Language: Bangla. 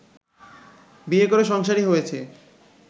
বিয়ে করে সংসারি হয়েছে